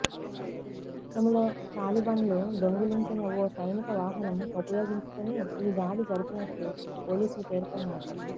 గతంలో తాలిబన్లు దొంగిలించిన ఓ సైనిక వాహనం ఉపయోగించుకొని ఈ దాడి జరిపినట్లు పోలీసులు పేర్కొన్నారు